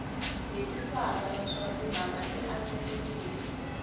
hetiseka naswona timhaka ti andlariwile